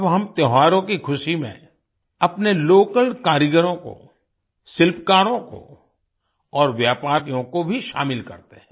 अब हम त्योहारों की खुशी में अपने लोकल कारीगरों को शिल्पकारों को और व्यापारियों को भी शामिल करते हैं